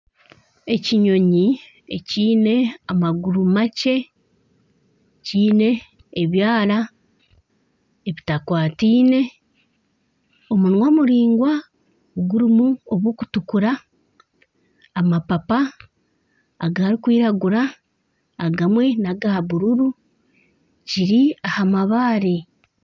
Ekinyonyi ekiine amaguru makye kiine ebyara ebitakwataine omunwa muraingwa gurimu obw'okutukura amapapa agarikwiragira agamwe naga bururu kiri aha mabaare